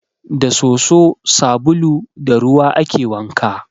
Da soso, sabulu da ruwa ake wanka.